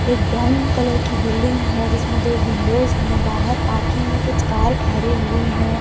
एक brown colour की building है जिसमें दो विंडोज है बाहर पार्किंग में कुछ कार ठहरे हुई हैं।